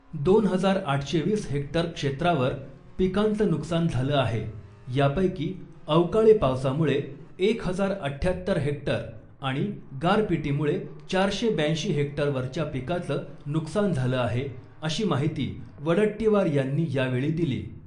दोन हजार आठशे वीस हेक्टर क्षेत्रावर पिकांचं नुकसान झालं आहे , यापैकी अवकाळी पावसामुळे एक हजार अठ्ठ्यात्तर हेक्टर आणि गारपीटीमुळे चारशे ब्याऐंशी हेक्टरवरच्या पिकाचं नुकसान झालं आहे अशी माहिती वडट्टीवार यांनी यावेळी दिली .